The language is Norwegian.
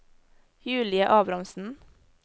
Julie Abrahamsen